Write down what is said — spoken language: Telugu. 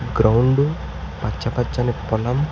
గ్రౌండ్ పచ్చ పచ్చని పొలం.